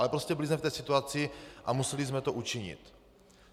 Ale prostě byli jsme v té situaci a museli jsme to učinit.